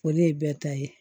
O de ye bɛɛ ta ye